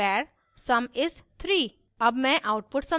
now static var sum is 3